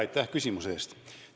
Aitäh küsimuse eest!